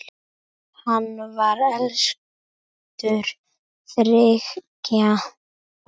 Hann var elstur þriggja bræðra.